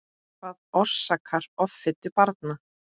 Hvað orsakar offitu barna?